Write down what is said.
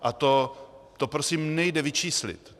A to prosím nejde vyčíslit.